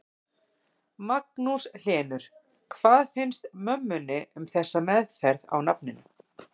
Magnús Hlynur: Hvað finnst mömmunni um þessa meðferð á nafninu?